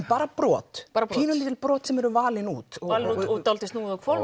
bara brot pínulítil brot sem eru valin út og dálítið snúið á hvolf